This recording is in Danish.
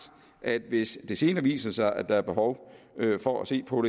at hvis det senere viser sig at der er behov for at se på